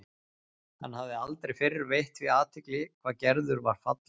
Hann hafði aldrei fyrr veitt því athygli hvað Gerður var falleg.